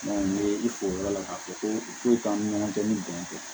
n ye i fo yɔrɔ la k'a fɔ ko i k'o k'an ni ɲɔgɔn cɛ ni bɛn tɛ